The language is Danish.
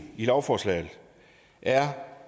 lovforslaget er